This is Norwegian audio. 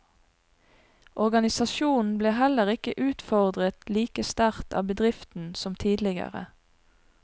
Organisasjonen ble heller ikke utfordret like sterkt av bedriften som tidligere.